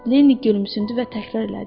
Linni gülümsündü və təkrar elədi.